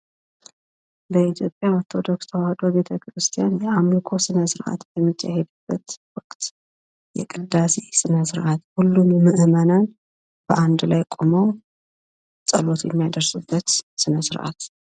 ለኢትዮጵያ ኦርቶዶክስ ተዋህዶ ቤተ ክርስቲያን የአምልኮ ስነ ስራአት ወቅት የቅዳሴ ስነ ስርዓት ሁሉም ምዕመናን በአንድ ላይ ቆመው ጸሎት የሚያደርሱበት ስነስርአት